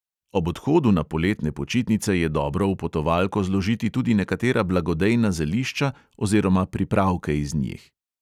Ob odhodu na poletne počitnice je dobro v potovalko zložiti tudi nekatera blagodejna zelišča oziroma pripravke iz njih.